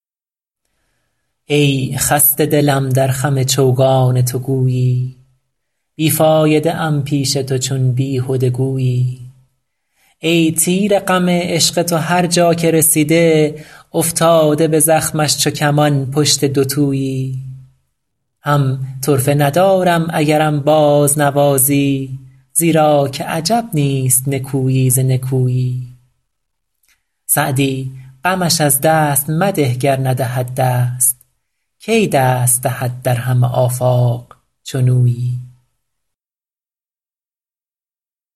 ای خسته دلم در خم چوگان تو گویی بی فایده ام پیش تو چون بیهده گویی ای تیر غم عشق تو هر جا که رسیده افتاده به زخمش چو کمان پشت دوتویی هم طرفه ندارم اگرم بازنوازی زیرا که عجب نیست نکویی ز نکویی سعدی غمش از دست مده گر ندهد دست کی دست دهد در همه آفاق چنویی